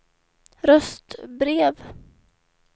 röstbrev